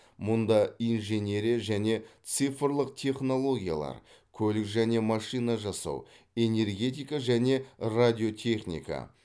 мұнда инженерия және цифрлық технологиялар көлік және машина жасау энергетика және радиотехника